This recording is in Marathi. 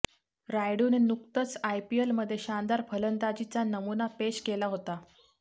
रायडूने नुकतंच आयपीएलमध्ये शानदार फलंदाजीचा नमुना पेश केला होता